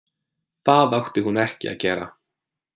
Það átti hún ekki að gera.